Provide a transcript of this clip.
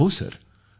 गौरव right सिर